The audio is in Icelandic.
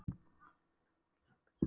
En Gamli ritaði þá fyrir Gissur biskup í